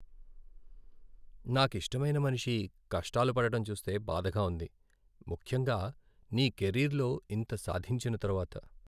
నాకిష్టమైన మనిషి కష్టాలు పడటం చూస్తే బాధగా ఉంది, ముఖ్యంగా నీ కెరీర్లో ఇంత సాధించిన తరువాత.